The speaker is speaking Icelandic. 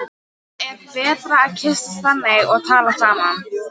Það er betra að kyssast þannig og tala saman.